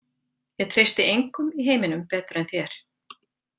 Ég treysti engum í heiminum betur en þér.